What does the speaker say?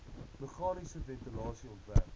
meganiese ventilasie ontwerp